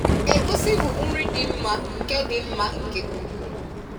egusi bụ nri dị mma nke dị mma nke ukwuu